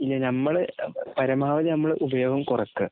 ഇല്ല, നമ്മള് പരാവധി നമ്മള് ഉപയോഗം കുറയ്ക്കുക.